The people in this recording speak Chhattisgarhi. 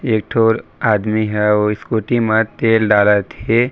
एक ठो और आदमी ह उ स्कूटी म तेल डालत हे।